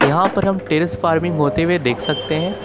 यहां पर हम टेरिस फार्मिंग होते हुए देख सकते हैं।